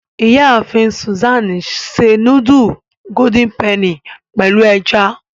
Iyaafin Susan se nudulu Golden Penny pẹlu ẹja.